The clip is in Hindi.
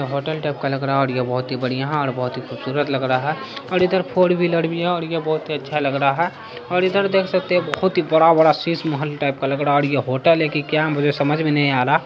होटल टाइप का लग रहा है और ये बहुत ही बढ़िया है और बहुत ही खुबसूरत लग रहा है और इधर फोर व्हीलर भी है और ये बहुत ही अच्छा लग रहा है और इधर देख सकते हैं बहुत ही बड़ा बड़ा सीस महल टाइप का लग रहा है और ये होटल है कि क्या मुझे समझ में नहीं आ रहा |